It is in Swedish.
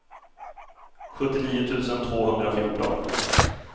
sjuttionio tusen tvåhundrafjorton